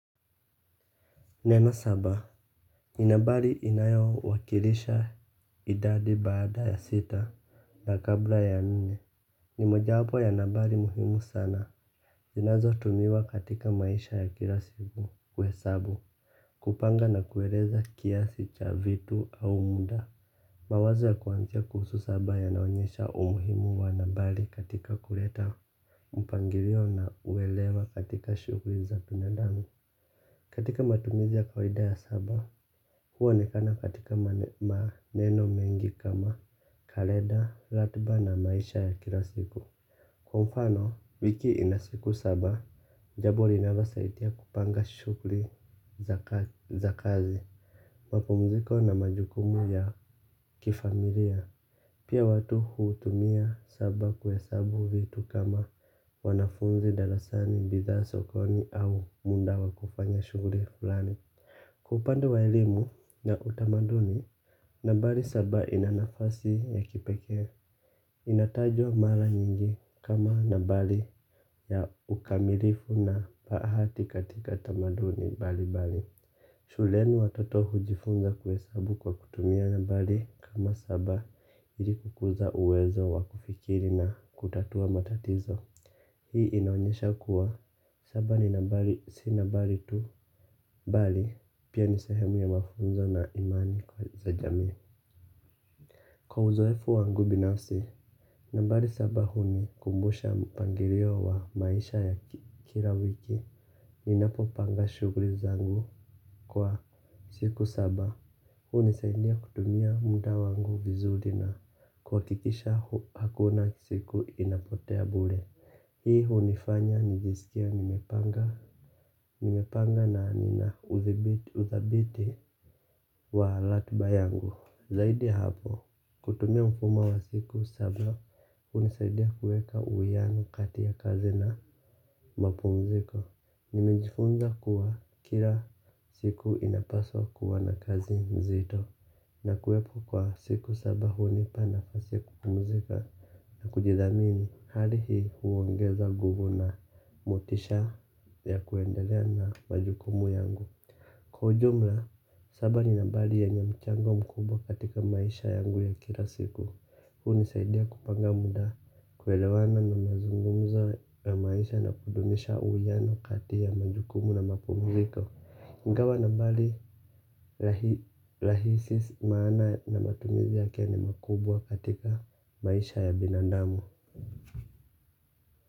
Neno saba, ni nambari inayo wakilisha idadi baada ya sita na kabla ya nne. Ni moja wapo ya nambali muhimu sana zinazo tumiwa katika maisha ya kila siku kuhesabu kupanga na kueleza kiasi cha vitu au muda. Mawazo ya kuanzia kuhusu saba yana onyesha umuhimu wa nambari katika kuleta mpangilio na uelewa katika shughuli za binadamu. Katika matumizi ya kawida ya saba huonekana katika maneno mengi kama kaleda, ratiba na maisha ya kila siku. Kwa mfano, wiki ina siku saba, jambo linalosaidia kupanga shughuli za kazi. Mapumziko na majukumu ya kifamilia. Pia watu hutumia saba kuhesabu vitu kama wanafunzi darasani bidhaa sokoni au muda wa kufanya shughuli fulani kwa upande wa elimu na utamaduni nambari saba ina nafasi ya kipekee. Inatajwa mara nyingi kama nambari ya ukamilifu na bahati katika tamaduni mbalimbali. Shuleni watoto hujifunza kuhesabu kwa kutumia nambari kama saba ili kukuza uwezo wakufikiri na kutatua matatizo. Hii inaonyesha kuwa, saba ni nambari, si nambari tu, bali, pia ni sahemu ya mafunzo na imani kwa za jamii. Kwa uzoefu wangu binafsi, nambari saba huni kumbusha mpangilio wa maisha ya kila wiki, ninapo panga shughuli zangu kwa siku saba. Huni saidia kutumia muda wangu vizuri na kuhakikisha hakuna siku inapotea bure. Hii hunifanya nijisikie nimepanga na nina udhabiti wa ratiba yangu. Zaidi ya hapo, kutumia mfumo wa siku saba hunisaidia kuweka uwiano kati ya kazi na mapumziko. Nimejifunza kuwa kila siku inapaswa kuwa na kazi nzito. Na kuwepo kwa siku saba hunipa nafasi kupumuzika na kujidhamini hali hii huongeza nguvu na motisha ya kuendelea na majukumu yangu. Kwa ujumla, saba ni nambari ye nye mchango mkubwa katika maisha yangu ya kila siku. Huni saidia kupanga muda kuelewana na mazungumza ya maisha na kudumisha uwiano kati ya majukumu na mapumuziko ingawa nambari rahisi maana na matumizi yake ni makubwa katika maisha ya binandamu.